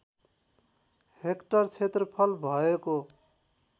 hectare क्षेत्रफल भएको